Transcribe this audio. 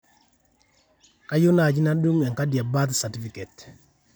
kaiyieu naaji nadung enkadi e birth certificate